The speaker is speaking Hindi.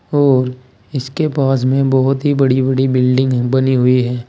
और इसके पास में बहुत ही बड़ी बड़ी बिल्डिंग बनी हुई है।